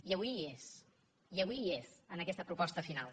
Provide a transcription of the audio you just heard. i avui hi és i avui hi és en aquesta proposta final